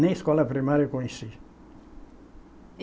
Nem escola primária eu conheci.